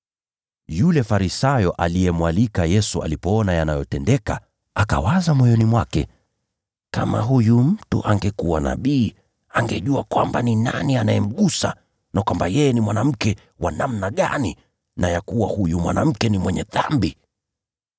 Yule Farisayo aliyemwalika Yesu alipoona yanayotendeka, akawaza moyoni mwake, “Kama huyu mtu angekuwa nabii, angejua kwamba ni nani anayemgusa, na kwamba yeye ni mwanamke wa namna gani, na ya kuwa huyu mwanamke ni mwenye dhambi.”